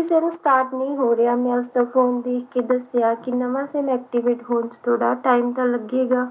SIMstart ਨਹੀਂ ਹੋ ਰਿਹਾ ਮੈਂ ਉਸਦਾ phone ਦੇਖ ਕੇ ਦੱਸਿਆ ਕਿ ਨਵਾਂ SIMactivate ਹੋਣ ਵਿਚ ਥੋੜਾ time ਤੇ ਲੱਗੇਗਾ